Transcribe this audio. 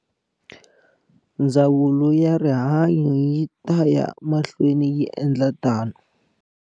Ndzawulo ya Rihanyo yi taya mahlweni yi endla tano.